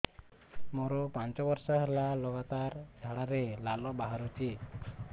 ମୋରୋ ପାଞ୍ଚ ବର୍ଷ ହେଲା ଲଗାତାର ଝାଡ଼ାରେ ଲାଳ ବାହାରୁଚି